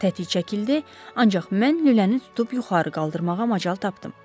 Tətik çəkildi, ancaq mən lüləni tutub yuxarı qaldırmağa macal tapdım.